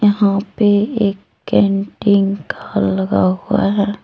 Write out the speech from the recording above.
यहां पे एक कैंटिन का लगा हुआ है।